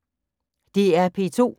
DR P2